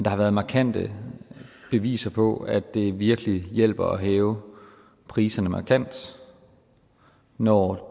har været markante beviser på at det virkelig hjælper at hæve priserne markant når